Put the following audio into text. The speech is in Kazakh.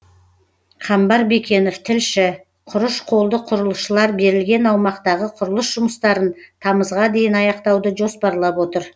қамбар бекенов тілші құрыш қолды құрылысшылар берілген аумақтағы құрылыс жұмыстарын тамызға дейін аяқтауды жоспарлап отыр